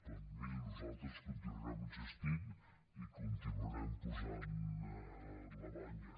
però miri nosaltres continuarem insistint i hi continuarem posant la banya